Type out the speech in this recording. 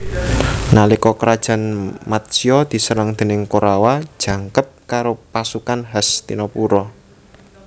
Nalika Krajan Matsya diserang déning Korawa jangkep karo pasukan Hastinapura